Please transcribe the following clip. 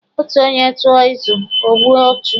Otu onye tụọ izu, ọ gbue ọchụ.